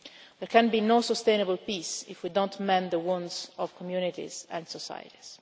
There can be no sustainable peace if we do not mend the wounds of communities and societies.